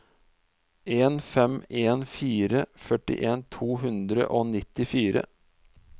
en fem en fire førtien to hundre og nittifire